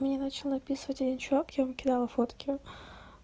мне начал написывать один человек я ему кидала фотки